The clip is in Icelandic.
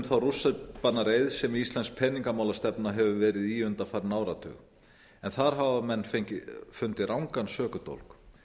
þá rússíbanareið sem íslensk peningamálastefna hefur verið í undanfarinn áratug þar hafa menn fundið rangan sökudólg